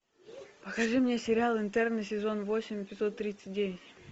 покажи мне сериал интерны сезон восемь эпизод тридцать девять